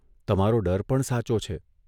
તમારો ડર પણ સાચો છે.